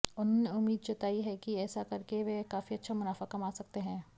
उन्होंने उम्मीद जताई है कि ऐसा करके वह काफी अच्छा मुनाफा कमा सकते है